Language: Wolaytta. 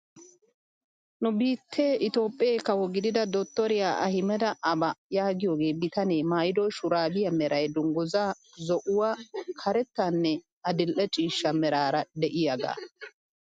Nu biittee itoophphee kawo gidida dorttoriyaa ahimeda aaba yaagiyoo bitanee maayido shuraabiyaa meray dunguzaa zo'uwaa karettaaranne adil'e ciishsha meraara de'iyaaga.